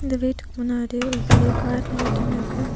இந்த வீட்டுக்கு முன்னாடி ஒரு பெரிய கார் நின்னுட்டு இருக்கு.